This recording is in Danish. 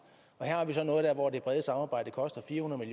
her har vi så noget hvor det brede samarbejde koster fire hundrede